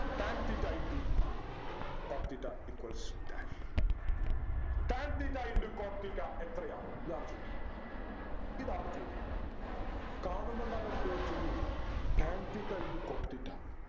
tan theta into cot theta equals dash tan theta into cot theta എത്രയാണ് ഇതാണ് ചോദ്യം ഇതാണ് ചോദ്യം കാണുമ്പോ തന്നെ പേടിച്ചു അയ്യോ tan theta into cot theta